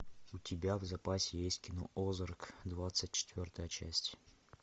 у тебя в запасе есть кино озарк двадцать четвертая часть